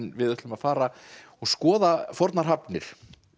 við ætlum að fara og skoða fornar hafnir